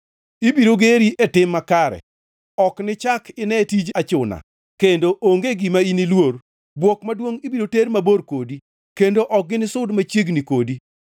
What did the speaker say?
Ibiro geri e tim makare: Ok nichak ine tij achuna; kendo onge gima iniluor. Bwok maduongʼ ibiro ter mabor kode; kendo ok ginisud machiegni kodi.